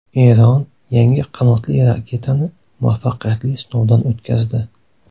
Eron yangi qanotli raketani muvaffaqiyatli sinovdan o‘tkazdi.